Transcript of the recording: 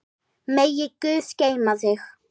Megi guð geyma þig.